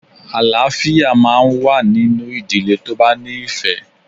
Àlááfíà máa n wá nínú ìdílé tó bá ní ìfẹ̀